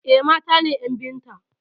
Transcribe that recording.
Eh, mata ne ƴan biyun ta.